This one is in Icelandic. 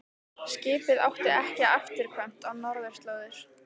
Skipið átti ekki afturkvæmt á norðurslóðir.